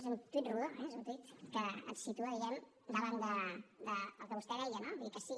és un tuit rodó eh és un tuit que et situa diguem ne davant del que vostè deia no vull dir sí